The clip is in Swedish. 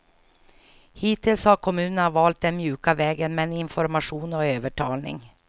Hittills har kommunerna valt den mjuka vägen, med information och övertalning.